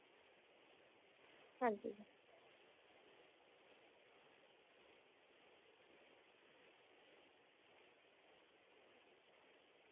ਹਾਂਜੀ ਜੀ।